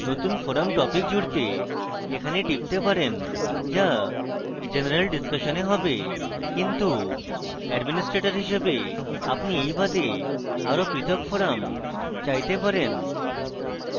নতুন forum topic জুড়তে এখানে টিপতে পারেন যা general discussion a হবে কিন্তু administrator হিসাবে আপনি you বাদে আরো পৃথক forum চাইতে পারেন